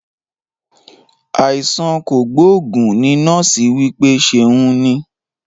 Àìsàn kogboogun ní nọ́ọ̀sì wí pé ṣeun ní